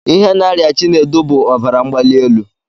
Ihe na-arịa Chinedu bụ ọbara mgbalielu